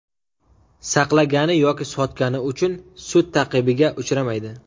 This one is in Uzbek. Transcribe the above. saqlagani yoki sotgani uchun sud ta’qibiga uchramaydi.